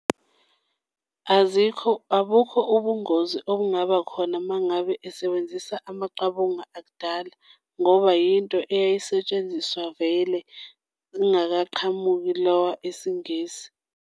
Azikho, abukho ubungozi obungabakhona uma ngabe esebenzisa amaqabunga akudala ngoba yinto eyayisetshenziswa vele kungakaqhamuki lawa esiNgisi.